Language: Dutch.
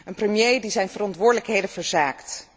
Een premier die zijn verantwoordelijkheden verzaakt.